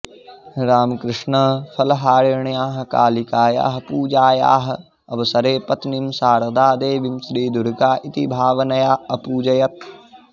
रामकृष्णः फलहारिण्याः कालिकायाः पूजायाः अवसरे पत्नीं शारदादेवीं श्रीदुर्गा इति भावनया अपूजयत्